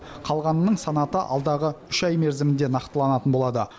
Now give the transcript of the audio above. қалғанының санаты алдағы үш ай мерзімінде нақтыланатын болады